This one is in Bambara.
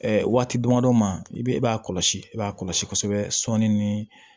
waati damadɔ ma i bɛ e b'a kɔlɔsi e b'a kɔlɔsi kosɛbɛ sɔɔni ni